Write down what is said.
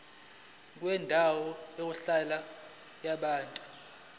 kwendawo yokuhlala yabantu